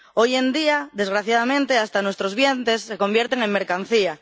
Hoy en día, desgraciadamente, hasta nuestros vientres se convierten en mercancía.